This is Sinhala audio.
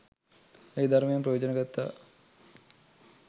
ඒ ධර්මයෙන් ප්‍රයෝජන ගත්තා.